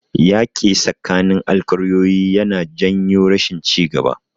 Yaƙi tsakanin alƙaryoyi yana janyo rashin ci gaba.